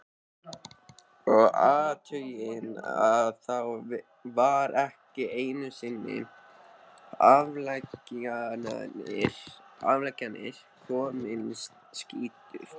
Og athugið að þá var ekki einusinni afleggjarinn kominn, skýtur